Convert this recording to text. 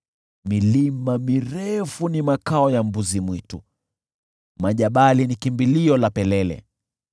Milima mirefu ni makao ya mbuzi-mwitu, majabali ni kimbilio la pelele.